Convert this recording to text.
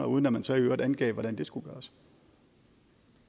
uden at man så i øvrigt angav hvordan det skulle gøres